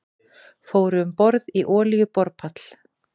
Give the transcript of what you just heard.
Fóru um borð í olíuborpall